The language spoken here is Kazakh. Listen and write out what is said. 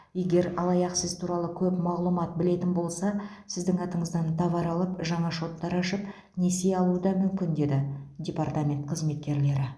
егер алаяқ сіз туралы көп мағлұмат білетін болса сіздің атыңыздан товар алып жаңа шоттар ашып несие алуы да мүмкін деді департамент қызметкерлері